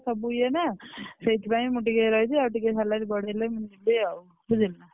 ସବୁ ଇଏ ନା ସେଇଥିପାଇଁ ମୁଁ ଟିକେ ରହିବି ଆଉ ଟିକେ salary ବଢେଇଲେ ମୁଁ ଯିବି ଆଉ ବୁଝିଲୁ ନା।